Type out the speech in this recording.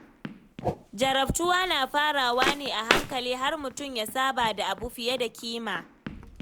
Jarabtuwa na farawa ne a hankali har mutum ya saba da abu fiye da kima.